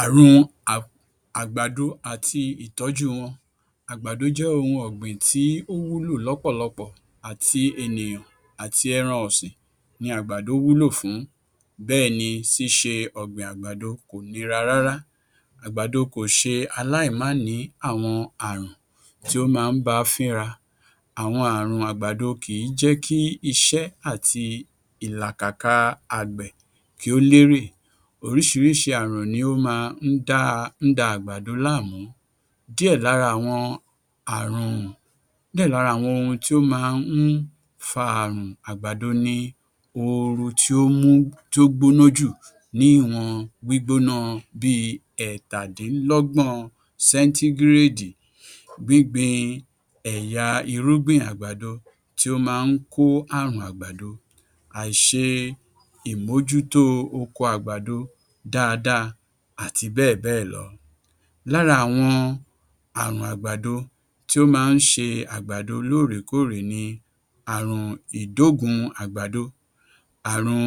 Àrùn a àgbàdo àti ìtọ́jú wọn Àgbàdo jẹ ohun ọ̀gbìn tí ó wúlò lọ́pọ̀lọpọ̀. Àti ènìyàn àti ẹran ọ̀sìn ni àgbàdo wúlò fún bẹ́ẹ̀ ní ṣíṣe ọ̀gbìn àgbàdo kò nira rárá. Àgbàdo kò ṣe aláìmánìí àwọn àrùn tí ó máa ń ba fínra. Àwọn àrùn àgbàdo kì í jẹ́ kí iṣẹ́ àti ìlàkàkà àgbẹ̀ kí ó lérè. Oríṣiríṣi àrùn ni ó máa ń da ń da àgbàdo láàmú. Díẹ̀ lára àwọn àrùn díẹ̀ lára àwọn ohun tí ó máa ń fa àrùn àgbàdo ni ooru tí ó mú ti ó gbóná jù ní ìwọ̀n gbígbóná bíi ẹ́tàdínlọ́gbọ̀n sẹ́ńtígíréèdì, gbíngbìn ẹ̀yà irúgbìn àgbàdo tí ó máa ń kó àrùn àgbàdo, àìṣe ìmójútó oko àgbàdo dáadáa àti bẹ́ẹ̀bẹ́ẹ̀lọ. Lára àwọn àrùn àgbàdo tí ó máa ń ṣe àgbàdo lóòrèkóòrè ni àrùn ìdóògún àgbàdo, àrùn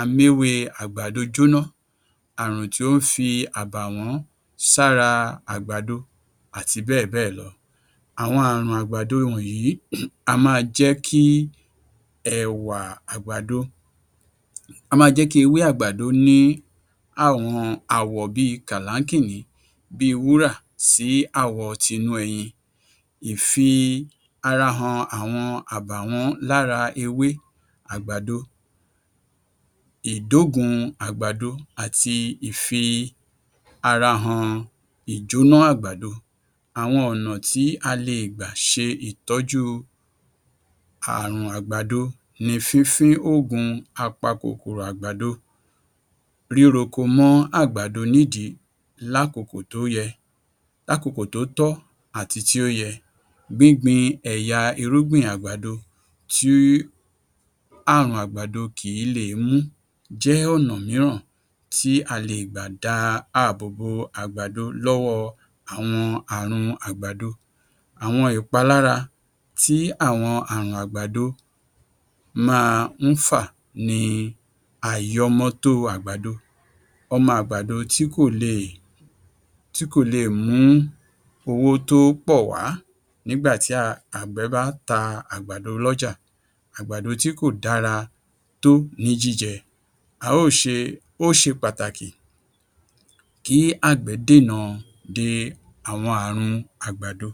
améwé àgbàdo jóná, àrùn tí ó ń fi àbàwọ́n sára àgbàdo àti bẹ́ẹ̀bẹ́ẹ̀lọ. Àwọn àrùn àgbàdo wọ̀nyí á máa jẹ́ kí ẹ̀wà àgbàdo á máa jẹ́ kí ewé àgbàdo ní àwọn àwọ̀ bíi kàláńkìní bíi wúrà sí àwọ tinú ẹyin. Ìfi-ara-hàn àwọn àbàwọ́n lára ewé àgbàdo ìdóògún àgbàdo àti ìfi-ara-hàn ìjóná àgbàdo. Àwọn ọ̀nà tí a le è gbà ṣe ìtọ́jú àrùn àgbàdo ni fífín òògùn apakòkòrò àgbàdo, ríroko mọ́ àgbàdo nídìí lákòókò tó yẹ, lákòókò tó tọ́ àti tí ó yẹ. Gbíngbin ẹ̀yà irúgbìn àgbàdo tí àrùn àgbàdo kìí le è mú jẹ́ ọ̀nà mìíràn tí a lè gbà dá àbò bò àgbàdo lọ́wọ́ àwọn àrùn àgbàdo. Àwọn ìpalára tí àwọn àrùn àgbàdo máa ń fà ni àìyọmọtó àgbàdo. Ọmọ àgbàdo tí kò lè tí kò le è mú owó tó pọ̀ wàá nígbà tí a àgbẹ̀ bá ta àgbàdo lọ́jà àgbàdo tí kò dára tó ní jíjẹ, a ó ṣe ó ṣe pàtàkì kí àgbẹ̀ dènà de àwọn àrùn àgbàdo.